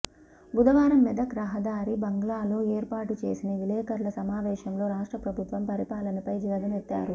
బుధవారం మెదక్ రహదారి బంగ్లాలో ఏర్పాటు చేసిన విలేఖరుల సమావేశంలో రాష్ట్ర ప్రభుత్వం పరిపాలనపై ధ్వజమెత్తారు